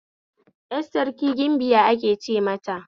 Yar Sarki gimbiya ake ce mata